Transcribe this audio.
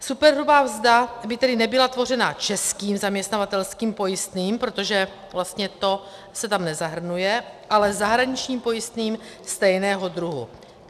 Superhrubá mzda by tedy nebyla tvořena českým zaměstnavatelským pojistným, protože vlastně to se tam nezahrnuje, ale zahraničním pojistným stejného druhu.